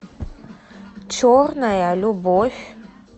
черная любовь